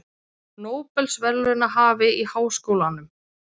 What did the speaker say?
Nóbelsverðlaunahafi í háskólanum